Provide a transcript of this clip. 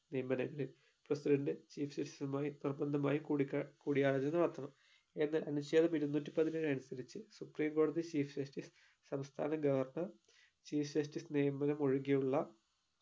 നിയമനങ്ങളിൽ president chief justice ഉമായി നിർബന്ധമായും കൂടിക്കാ കൂടിയാലോചന നടത്തണം എന്നാൽ അനുച്ഛേദം ഇരുന്നൂറ്റി പതിനേഴ് അനുസരിച്ചു supreme കോടതി chief justice സംസ്ഥാന governor chief justice നിയമനം ഒഴികെയുള്ള